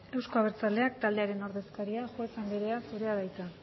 euzko abertzaleak taldearen ordezkaria juez anderea zurea da hitza